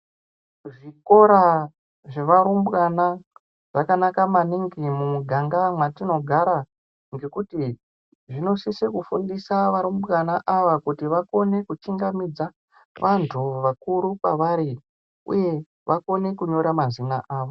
Zvikora zvavarumbwana zvakanaka maningi mumuganga mwatinogara ,ngekuti zvinosisa kufundisa varumbwana ava kuti vakone kutyingamidza vantu vakuru kwavari uye vakone kunyora mazina avo.